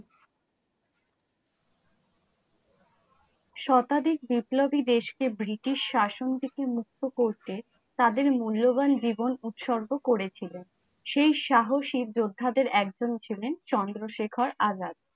শতাধিক বিপ্লবী দেশ কে ব্রিটিশ শাসন থেকে মুক্ত করতে তাদের মূল্যবান জীবন উৎসর্গ করেছিল, সেই সাহসী যোদ্ধাদের একজন ছিলেন চন্দ্রশেখর আজাদ।